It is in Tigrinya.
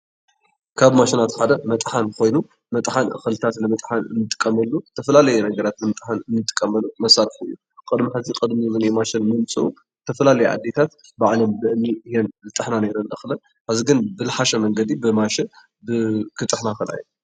ካብ ማሽናት ሓደ ምጥሓን ኮይኑ ምጥሓን